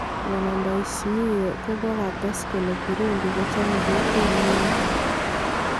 Bwana Ndaiyismie kokates kole Burudi kochome kokwet nemie.